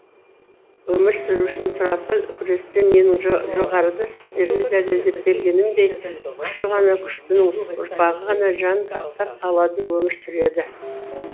өмір сүру үшін сұрапыл күресте менің жоғарыда сіздерге дәлелдеп бергенімдей күші ғана күштінің ұрпағы ғана жан сақтап қалады өмір сүреді